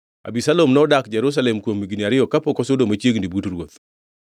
Abisalom nodak Jerusalem kuom higni ariyo kapok osudo machiegni but ruoth.